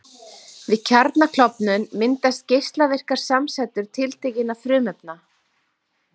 Við kjarnaklofnun myndast geislavirkar samsætur tiltekinna frumefna.